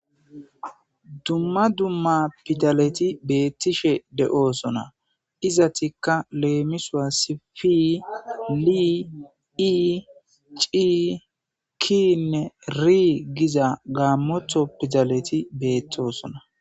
dumma dumma pidaleti beettishe de7oosona iza tikka leemisowa sifi li ii cii kiinne rii giza gaammotho pidaleti beettoosona